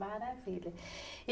Maravilha.